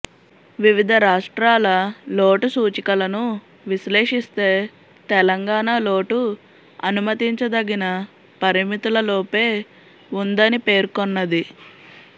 వివిధ రాష్ట్రాల లోటు సూచికలను విశ్లేషిస్తే తెలంగాణ లోటు అనుమతించదగిన పరిమితులలోపే ఉందని పేర్కొన్నది